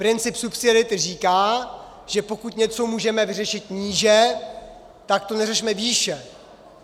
Princip subsidiarity říká, že pokud něco můžeme vyřešit níže, tak to neřešme výše.